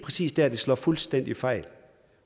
præcis der det slår fuldstændig fejl